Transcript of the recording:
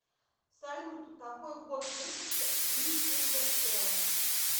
салют какой год выпуска фильм интерстеллар